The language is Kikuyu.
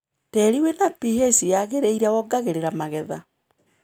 Tĩri wĩna pH yagĩrĩire wongagĩrĩra magetha.